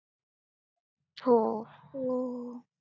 हो.